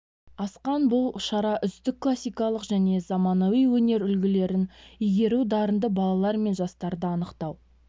асқан бұл шара үздік классикалық және заманауи өнер үлгілерін игеру дарынды балалар мен жастарды анықтау